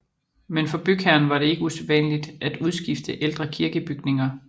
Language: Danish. Men for bygherren var det ikke usædvanligt at udskifte ældre kirkebygninger